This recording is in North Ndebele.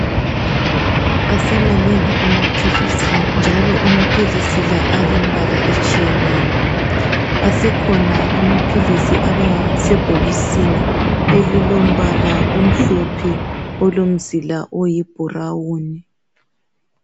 Asemanengi amaphilisi njalo amaphilisi lawa alemibala etshiyeneyo. Asekhona amaphilisi abasebhokisini elilombala omhlophe olomzila oyi brown.